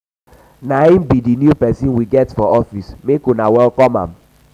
na him be the new person we get for office make una welcome am